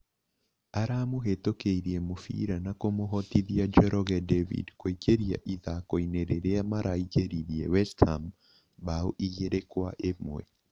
Aramũhitukĩirie mũbira na kũmũhotithia Njoroge David kũingĩria ithakoinĩ rĩrĩa maraingĩririe West Ham mbaũ igĩrĩ kwa imwe